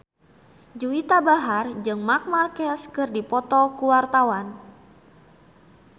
Juwita Bahar jeung Marc Marquez keur dipoto ku wartawan